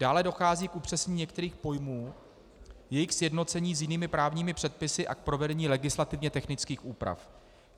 Dále dochází k upřesnění některých pojmů, k jejich sjednocení s jinými právními předpisy a k provedení legislativně technických úprav.